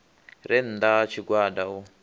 re nnda ha tshigwada u